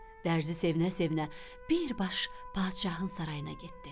Dərzi sevinə-sevinə bir baş padşahın sarayına getdi.